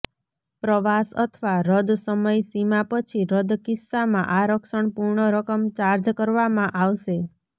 પ્રવાસ અથવા રદ સમય સીમા પછી રદ કિસ્સામાં આરક્ષણ પૂર્ણ રકમ ચાર્જ કરવામાં આવશે